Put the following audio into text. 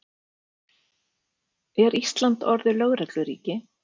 Er Ísland orðið lögregluríki?